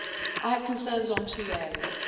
I have concerns on two areas.